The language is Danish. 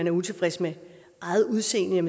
er utilfreds med eget udseende er